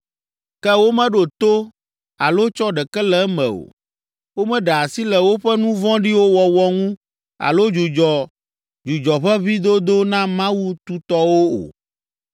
Ke womeɖo to alo tsɔ ɖeke le eme o; Womeɖe asi le woƒe nu vɔ̃ɖiwo wɔwɔ ŋu alo dzudzɔ dzudzɔʋeʋĩdodo na mawu tutɔwo o,